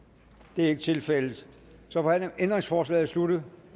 det er ikke tilfældet så er ændringsforslaget sluttet